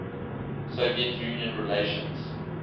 soviet union relations